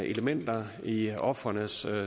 elementer i ofrenes